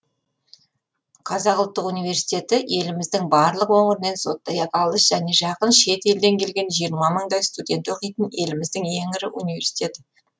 қазақ ұлттық университеті еліміздің барлық өңірінен сондай ақ алыс және жақын шет елден келген жиырма мыңдай студент оқитын еліміздің ең ірі университеті